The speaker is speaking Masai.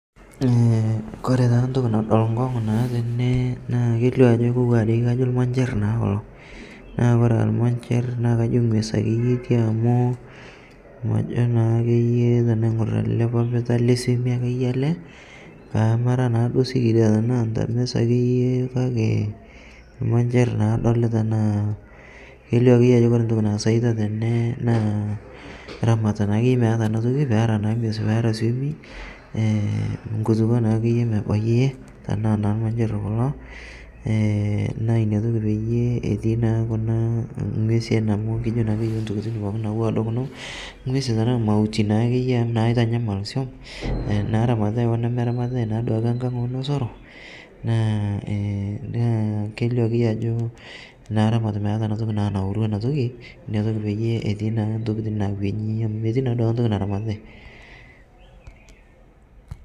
Koree naa ntoki nado nkongu tenee na kelio ajo ilmanjirr naa kulo naa koree aa ilmanjirr naa kajo ngues ake iye etii naa amuu kajaa naa ake iye tenaingorr ele papita lesieme ake iyie ele namara naaduo sikiria tenaa ntames ake iyie iyie kake ilmajerr na adolita kelio ake iyie ajo ore ntoki naasita tene naa ramata naa ake iyie naana tokitin ngulukuo na ake iyie mebayie tena ilmanjer kulo na inatoki peyie etii naa nguesin tenaa mauti naa ake iye naramatitai oo nemeramatitai nosero naa kelio ake iyie ajo mee ntoki naramatitai